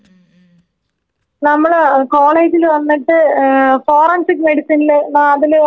നമ്മളെ കോളേജില് വന്നിട്ട് ഏ ഫോറൻസിക്ക് മെഡിസിൻല് ലാബില് ആ കുപ്പീലിട്ട് വെച്ചിരിക്കില്ലേ.